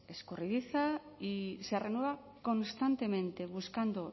escurridiza y se renueva constantemente buscando